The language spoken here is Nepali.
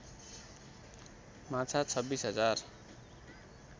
माछा २६ हजार